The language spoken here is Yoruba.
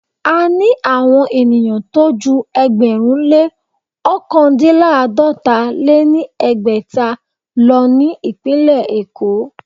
A ní àwon ènìyàn tó jú ẹgbẹ̀rún lé ọ̀kandínláàdọ́ta lé ní ẹgbẹ́ta lọ ní ìpínlẹ̀ Èkó.